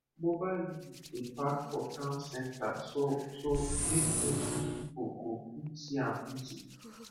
mobile unit dey park for town center so so make plenty people go fit see am easy